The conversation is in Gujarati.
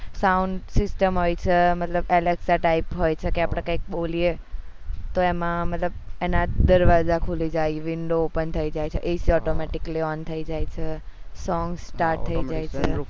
sound system હોય છે મતલબ type હોય છે કે આપડે કઈ બોલીએ તો એમાં મતલબ એના દરવાજા ખુલી જાય window open થઇ જાય છે એજ automatic on થઇ જાય છે song start થઇ જાય છે